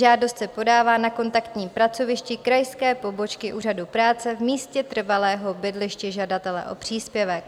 Žádost se podává na kontaktním pracovišti krajské pobočky Úřadu práce v místě trvalého bydliště žadatele o příspěvek.